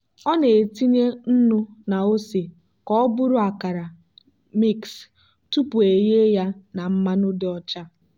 ọ na-etinye nnu na ose ka ọ bụrụ akara mix tupu eghe ya na mmanụ dị ọcha.